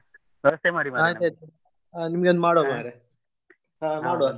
ಆಯ್ತಾಯ್ತು ನಿಮ್ಗೆ ಒಂದು